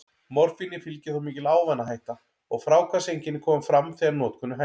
Morfíni fylgir þó mikil ávanahætta, og fráhvarfseinkenni koma fram þegar notkun er hætt.